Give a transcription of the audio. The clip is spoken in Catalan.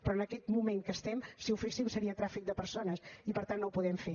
però en aquest moment que estem si ho féssim seria tràfic de persones i per tant no ho podem fer